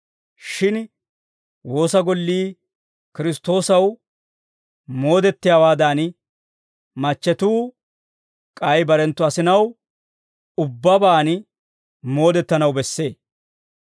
Shin woosa gollii Kiristtoosaw moodettiyaawaadan, machchetuu k'ay barenttu asinaw ubbabaan moodettanaw bessee.